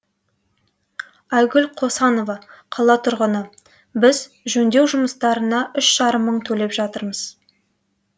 айгүл қосанова қала тұрғыны біз жөндеу жұмыстарнына үш жарым мың төлеп жатырмыз